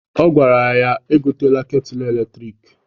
Ọ gwara ya egotela ketulu eletriki.